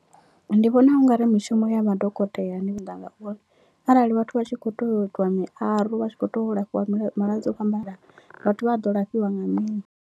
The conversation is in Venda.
Ndi vhona ungari mishumo ya madokotela arali vhathu vha tshi kho tea u itiwa miaro vha tshi kho tea u lafhiwa malwadze o fhambananaho vhathu vha a ḓo lafhiwa nga mini.